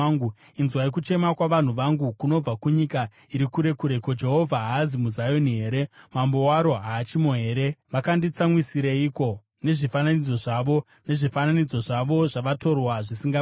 Inzwai kuchema kwavanhu vangu kunobva kunyika iri kure kure: “Ko, Jehovha haazi muZioni here? Mambo waro haachimo here?” “Vakanditsamwisireiko nezvifananidzo zvavo, nezvifananidzo zvavo zvavatorwa zvisingabatsiri?”